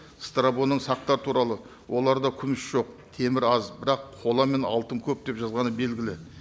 сақтар туралы оларда күміс жоқ темір аз бірақ қола мен алтын көп деп жазғаны белгілі